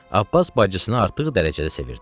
Abbas bacısını artıq dərəcədə sevirdi.